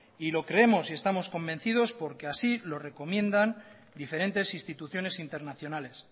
y lo creemos y estamos convencidos porque así lo recomiendan diferentes instituciones internacionales